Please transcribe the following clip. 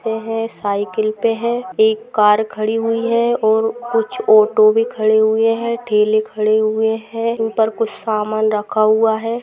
ये हे साइकिल पे है एक कार खड़ी हुई है और कुछ ऑटो भी खड़े हुऐ है ठेले खड़े हुए हैउन पर कुछ सामान रखा हुआ है ।